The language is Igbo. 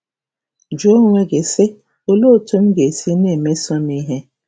Jụọ onwe gị, sị, ‘Olee otú m ga-esi na-emeso m ihe? '